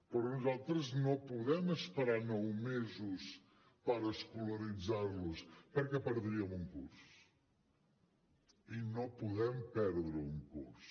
però nosaltres no podem esperar nou mesos per escolaritzar los perquè perdríem un curs i no podem perdre un curs